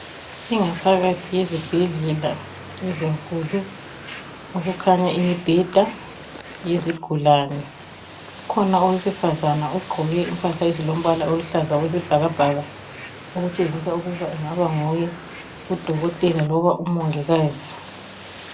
Ingaphakathi yezibhedlela ezinkulu. Kukhanya imibheda yezigulane. kukhona owesifazana, ogqoke impahla ezilombala oluhlaza okwelesibhakabhaka. Kukhanya angathi angaba nguye udokotela loba umongikazi.